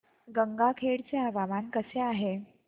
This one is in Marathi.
गंगाखेड चे हवामान कसे आहे